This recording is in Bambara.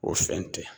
O fɛn tɛ